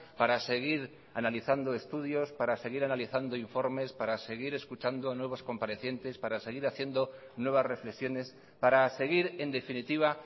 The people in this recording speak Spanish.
para seguir analizando estudios para seguir analizando informes para seguir escuchando nuevos comparecientes para seguir haciendo nuevas reflexiones para seguir en definitiva